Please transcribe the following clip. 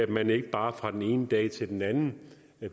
kan ikke bare fra den ene dag til den anden